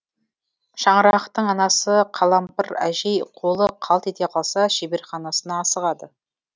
шаңырақтың анасы қалампыр әжей қолы қалт ете қалса шеберханасына асығады